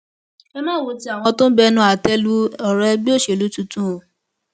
ẹ má wo ti àwọn tó ń bẹnu àtẹ lu ọrọ ẹgbẹ òṣèlú tuntun o